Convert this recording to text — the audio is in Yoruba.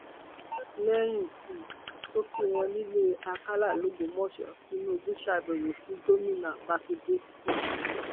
lẹyìn um tó kí wọn nílẹ àkàlà lọgbọmọsẹ tìǹbù ṣàbẹwò sí gómìnà mákindè um